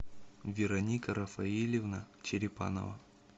вероника рафаильевна черепанова